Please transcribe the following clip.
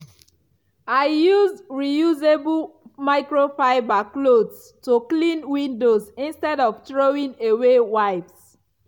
i use reusable microfiber cloths to clean windows instead of throwing away wipes.